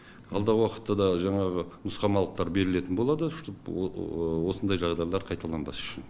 алдағы уақытта да жаңағы нұсқамалықтар берілетін болады чтобы осындай жағдайлар қайталанбас үшін